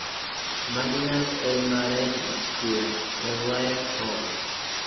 Madinat al-Maared Square, Al-Waer, Homs.